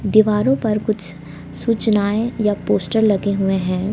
दीवारों पर कुछ सूचनाये या पोस्टर लगे हुए हैं।